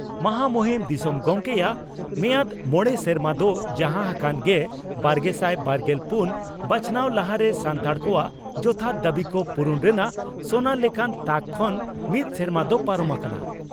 ᱢᱟᱦᱟ ᱢᱩᱦᱤᱢ ᱫᱤᱥᱚᱢ ᱜᱚᱢᱠᱮᱭᱟᱜ ᱢᱮᱭᱟᱫᱽ ᱢᱚᱲᱮ ᱥᱮᱨᱢᱟ ᱫᱚ ᱡᱟᱦᱟᱸ ᱦᱟᱠᱟᱱ ᱜᱮᱵᱟᱨᱜᱮᱥᱟᱭ ᱵᱟᱨᱜᱮᱞ ᱯᱩᱱ ᱵᱟᱪᱷᱱᱟᱣ ᱞᱟᱦᱟᱨᱮ ᱥᱟᱱᱛᱟᱲ ᱠᱚᱣᱟᱜ ᱡᱚᱛᱷᱟᱛ ᱫᱟᱹᱵᱤ ᱠᱚ ᱯᱩᱨᱩᱱ ᱨᱮᱱᱟᱜ ᱥᱚᱱᱟ ᱞᱮᱠᱟᱱ ᱛᱟᱠ ᱠᱷᱚᱱ ᱢᱤᱫ ᱥᱮᱨᱢᱟ ᱫᱚ ᱯᱟᱨᱚᱢ ᱟᱠᱟᱱᱟ ᱾